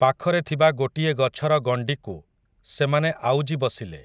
ପାଖରେ ଥିବା ଗୋଟିଏ ଗଛର ଗଣ୍ଡିକୁ ସେମାନେ ଆଉଜି ବସିଲେ ।